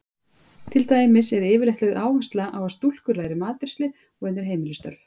Til dæmis er yfirleitt lögð áhersla á að stúlkur læri matreiðslu og önnur heimilisstörf.